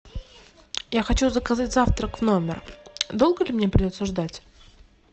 я хочу заказать завтрак в номер долго ли мне придется ждать